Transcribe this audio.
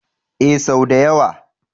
Ee, sau da yawa.